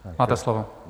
Máte slovo.